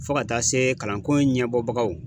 Fo ka taa se kalanko ɲɛbɔbagaw.